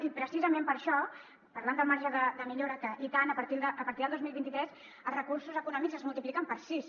i precisament per això parlant del marge de millora que i tant a partir del dos mil vint tres els recursos econòmics es multipliquen per sis